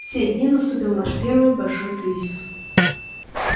в те дни наступил наш первый большой кризис